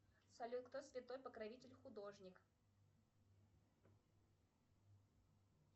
салют кто святой покровитель художник